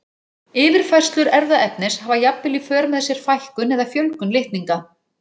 Yfirfærslur erfðaefnis hafa jafnvel í för með sér fækkun eða fjölgun litninga.